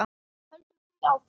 Höldum því áfram.